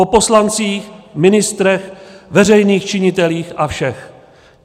Po poslancích, ministrech, veřejných činitelích a všech.